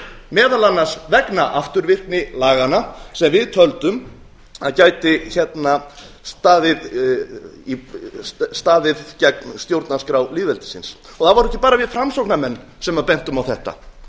meðal annars vegna afturvirkni laganna sem við töldum að gæti staðið gegn stjórnarskrá lýðveldisins það vorum ekki bara við framsóknarmenn sem bentum á þetta